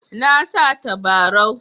Na sa tabarau.